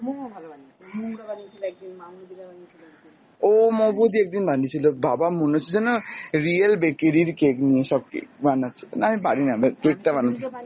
ও মৌ বৌদি একদিন বানিয়েছিল, বাবা মনে হচ্ছে যেন real bakery এর cake নিয়ে সব cake বানাচ্ছে, না আমি পারিনা cake টা বানাতে।